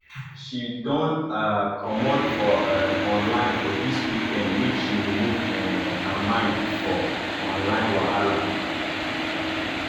she don um comot for um online for dis weekend make she remove um her mind for online wahala